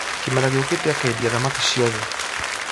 Kĩmera gĩũkite akendia thamaki ciothe